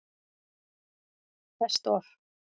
Best Of?